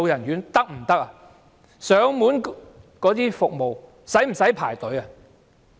現時的上門照顧服務需要輪候嗎？